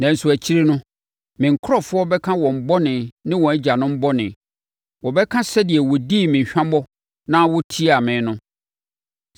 “ ‘Nanso akyire no, me nkurɔfoɔ bɛka wɔn bɔne ne wɔn agyanom bɔne. Wɔbɛka sɛdeɛ wɔdii me hwammɔ na wɔtiaa me no.